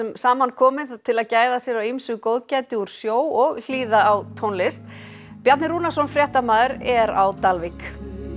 saman kominn til að gæða sér á ýmsu góðgæti úr sjó og hlýða á tónlist Bjarni Rúnarsson fréttamaður er á Dalvík